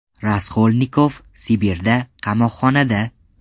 Raskolnikov Sibirda, qamoqxonada.